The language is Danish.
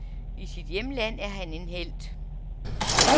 I sit hjemland er han en helt.